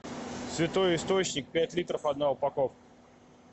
святой источник пять литров одна упаковка